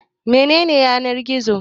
Mene ne Yanar-gizo?